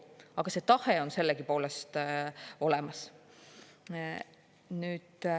Aga see tahe on sellegipoolest olemas.